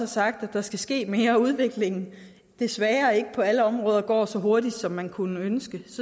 sagt at der skal ske mere udvikling desværre ikke på alle områder går så hurtigt som man kunne ønske